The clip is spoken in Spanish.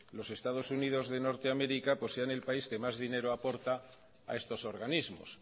los estados unidos de norte américa pues sea el país que más dinero aporta a estos organismos